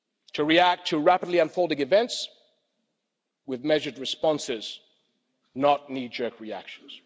to react to rapidly unfolding events with measured responses, not knee jerk reactions.